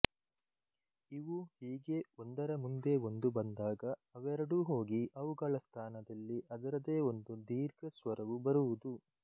ಇವು ಹೀಗೆ ಒಂದರ ಮುಂದೆ ಒಂದು ಬಂದಾಗ ಅವೆರಡೂ ಹೋಗಿ ಅವುಗಳ ಸ್ಥಾನದಲ್ಲಿ ಅದರದೇ ಒಂದು ದೀರ್ಘಸ್ವರವು ಬರುವುದು